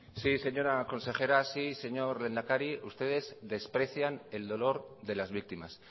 sí señora consejera sí señor lehendakari ustedes desprecian el dolor de las víctimas